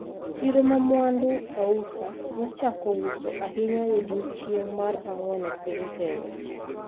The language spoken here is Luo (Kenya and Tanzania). Chiro ma mwandu ausa nochako uso ahinya e odiechieng’ mar ang’wen e piny Kenya,